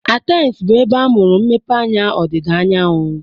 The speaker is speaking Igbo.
Athens bụ ebe amụrụ mmepeanya ọdịda anyanwụ.